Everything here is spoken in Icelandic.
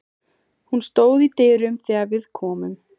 Hún stóð í dyrunum þegar við komum.